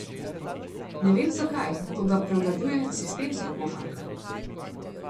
Ne vem, zakaj, toda prevladuje sistemska košarka.